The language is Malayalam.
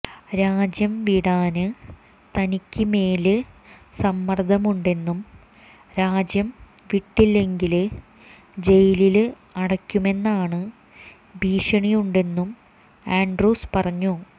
രാജ്യം വിടാന് തനിക്ക് മേല് സമ്മര്ദമുണ്ടെന്നും രാജ്യം വിട്ടില്ലെങ്കില് ജയിലില് അടയ്ക്കുമെന്നാണ് ഭീഷണിയുണ്ടെന്നും ആന്ഡ്രൂസ് പറഞ്ഞു